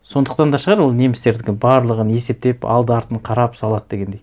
сондықтан да шығар ол немістердікі барлығын есептеп алды артын қарап салады дегендей